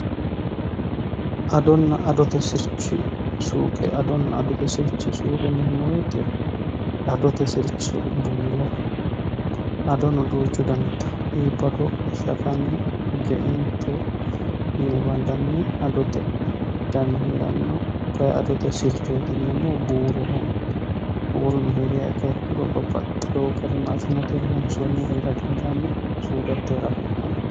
Adona adote sirchi suuqe, adote sirchi suuqe yineemmo woyte adote sircho buuro iibbado shafame geinto yine bandanni adote dani heerano kayinni adote sirchi yineemmohu buuroho woluno heeriro babbaxewo garini maashshineteni loonsonihu heera dandaano.